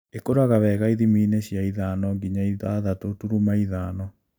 Ĩkuraga wega ithimiinĩ cia ithano nginya ithathatũ turuma ithano